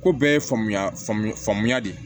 Ko bɛɛ ye faamuya faamuya de ye